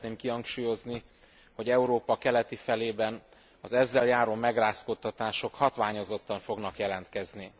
Szeretném kihangsúlyozni, hogy Európa keleti felében az ezzel járó megrázkódtatások hatványozottan fognak jelentkezni.